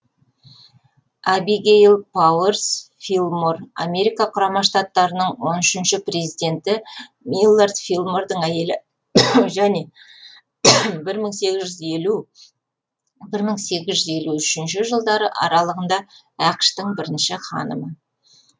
абигейл пауэрс филлмор америка құрама штаттарының он үшінші президенті миллард филлмордың әйелі және бір мың сегіз жүз елу бір мың сегіз жүз елу үшінші жылдары аралығында ақш тың бірінші ханымы